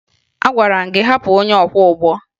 Agwara m gị hapụ onye ọkwọụgbọ!